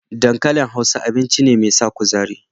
Dankalin Hausa, abinci ne mai sa kuzari.